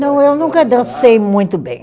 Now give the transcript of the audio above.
Não, eu nunca dancei muito bem.